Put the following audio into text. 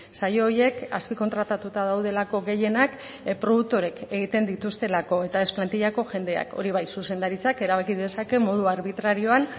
sail horiek azpikontratatuta daudelako gehienak produktoreek egiten dituztelako eta ez plantillako jendeak hori bai zuzendaritzak erabaki dezake modu arbitrarioan